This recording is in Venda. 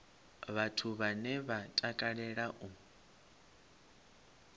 vhathu vhane vha takalea u